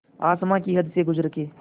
आसमां की हद से गुज़र के